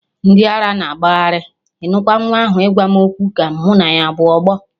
Ndị ara na agagharị, ịnụkwa nwa ahụ ịgwa m okwu ka mụ na ya abụ ọgbọ.